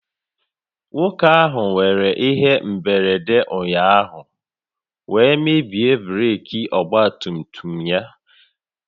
Nwoke ahụ nwéré ihe mberede ụnyaahụ wee mebie breeki ọgba tum tum ya